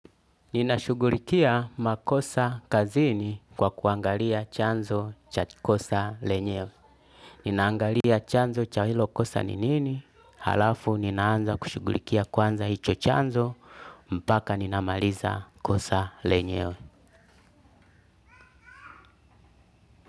Ninashughulikia makosa kazini kwa kuangalia chanzo cha kosa lenyewe. Ninaangalia chanzo cha hilo kosa ni nini halafu ninaanza kushughulikia kwanza hicho chanzo mpaka ninamaliza kosa lenyewe.